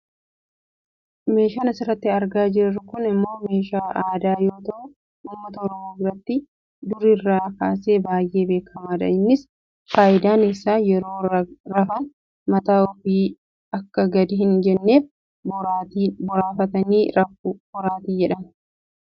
Meeshaan asirratti argaa jirru kun ammoo meeshaa aadaa yoo ta'u Uummata Oromoo biratti durirraa kaasee baayyee beekkamaadha . Innis fayidaan isaa yeroo rafan mataan ofii akka gad hin jenneef boraafatanii rafu. Boraatii jedhama.